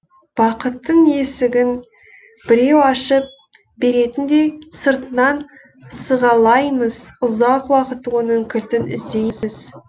бақыттың есігін біреу ашып беретіндей сыртынан сығалаймыз ұзақ уақыт оның кілтін іздейсіз